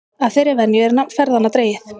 Af þeirri venju er nafn ferðanna dregið.